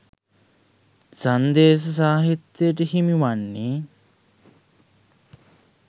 සංදේශ සාහිත්‍යට හිමිවන්නේ